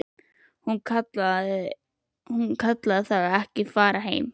Hún kallaði það ekki að fara heim.